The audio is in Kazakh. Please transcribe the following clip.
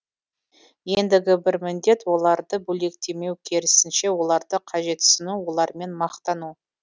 ендігі бір міндет оларды бөлектемеу керісінше оларды қажетсіну олармен мақтану